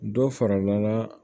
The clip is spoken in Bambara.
Dɔ farala